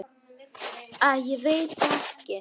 Æ, ég veit það ekki.